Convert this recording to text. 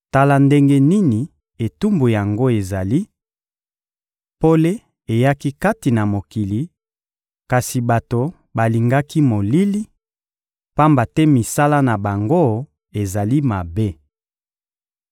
Tala ndenge nini etumbu yango ezali: pole eyaki kati na mokili, kasi bato balingaki molili, pamba te misala na bango ezali mabe.